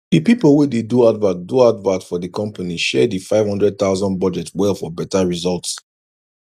d people wey dey do advert do advert for d company share d 500000 budget well for better result